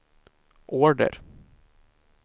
order